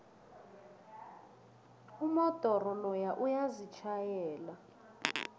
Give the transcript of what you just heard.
umodoro loya uyazitjhayela